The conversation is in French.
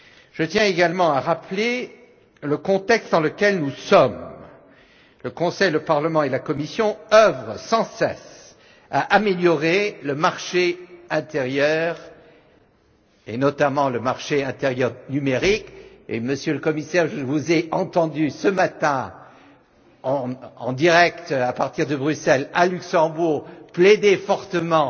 Je tiens également à rappeler le contexte dans lequel nous nous trouvons le Conseil, le Parlement et la Commission œuvrent sans cesse à améliorer le marché intérieur, et notamment le marché intérieur numérique, et, Monsieur le Commissaire, je vous ai entendu ce matin en direct à partir de Bruxelles, à Luxembourg plaider fortement